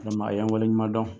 a ye n wale ɲuman dɔn.